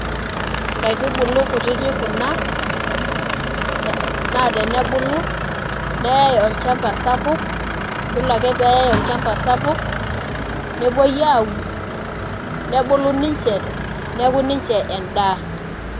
Nkaitubulu kutitik kuna, naa tenebulu, neyai olchamba sapuk, yiolo ake peyai olchamba sapuk, nepoi aun, nebulu ninche, neeku ninche endaa.